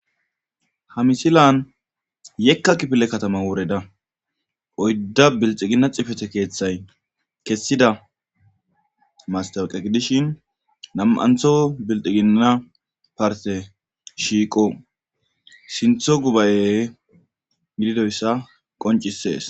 Ha misilan yekka kipile katama woreda oydda bilxigina cifete keeththay kessida mastawiqegi dishin nam,antho bilxiginna parte shiiqo sintho gubaye gididoyssa qoncisees.